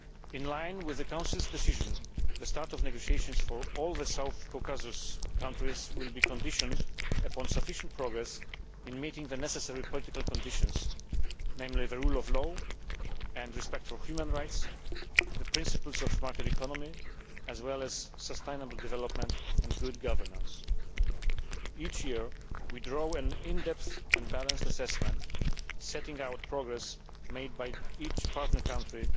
In line with the Council's decision, the start of negotiations for all the Southern Caucasus countries will be conditional on sufficient progress in meeting the necessary political conditions, namely the rule of law and respect for human rights, the principles of the market economy, as well as sustainable development and good governance. Each year, we draw an in depth and balanced assessment setting out progress made by each partner country